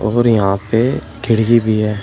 और यहां पे खिड़की भी है।